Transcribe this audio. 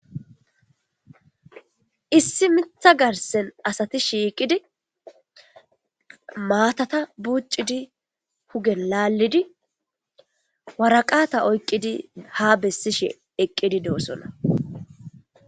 issi mitha garsen asati shiiqidi maatata buuccidi hugen laallidi waraqaata oyqqidi ha bessishe eqqidi doosona